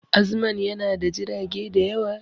Azman yana da jirage da yawa